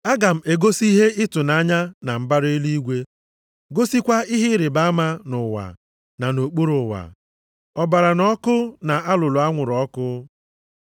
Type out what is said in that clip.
Aga m egosi ihe ịtụnanya na mbara eluigwe, gosikwa ihe ịrịbama nʼụwa na nʼokpuru ụwa, ọbara na ọkụ na alulu anwụrụ ọkụ.